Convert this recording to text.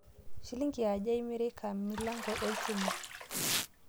Shilingini aja emireki milango elshumai